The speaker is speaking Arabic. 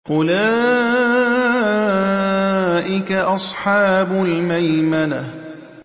أُولَٰئِكَ أَصْحَابُ الْمَيْمَنَةِ